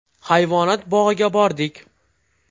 Hayvonot bog‘iga bordik.